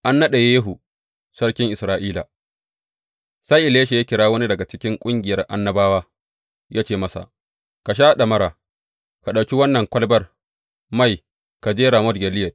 An naɗa Yehu sarkin Isra’ila Sai Elisha ya kira wani daga cikin ƙungiyar annabawa, ya ce masa, Ka sha ɗamara, ka ɗauki wannan kwalabar mai ka je Ramot Gileyad.